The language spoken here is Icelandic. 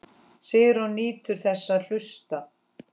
Sigrún nýtur þess að hlusta.